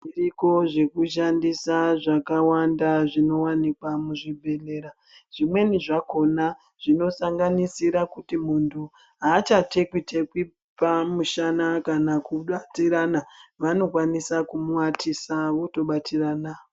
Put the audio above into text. Zviriko zvekushandisa zvakawanda zvinowanikwa muzvibhehlera . Zvimweni zvakona zvinosanganisira kuti munthu haacha tekwa - tekwa pamushana kana kubatirana vanokwanisa kumuwatisa kana kubatirana .